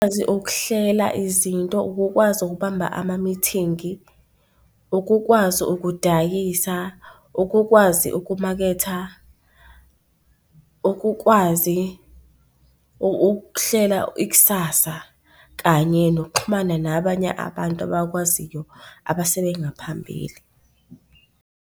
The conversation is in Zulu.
ukuhlela izinto, ukukwazi ukubamba amamithingi, ukukwazi ukudayisa, ukukwazi ukumaketha, ukukwazi ukuhlela ikusasa kanye nokuxhumana nabanye abantu abakwaziyo abasebengaphambili.